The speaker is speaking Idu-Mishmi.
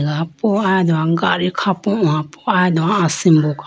rapo aya do gadi khapo howa po aya do asimbo kha.